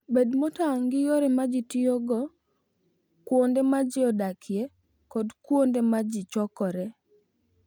Bed motang' gi yore ma ji tiyogo kuonde ma ji odakie kod kuonde ma ji chokoree.